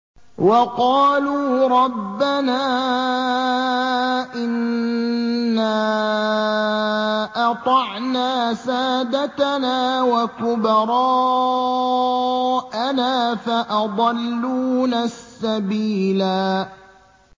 وَقَالُوا رَبَّنَا إِنَّا أَطَعْنَا سَادَتَنَا وَكُبَرَاءَنَا فَأَضَلُّونَا السَّبِيلَا